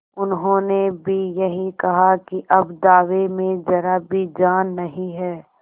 उन्होंने भी यही कहा कि अब दावे में जरा भी जान नहीं है